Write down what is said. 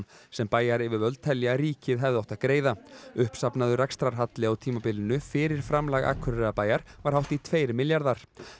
sem bæjaryfirvöld telja að ríkið hefði átt að greiða uppsafnaður rekstrarhalli á tímabilinu fyrir framlag Akureyrarbæjar var hátt í tveir milljarðar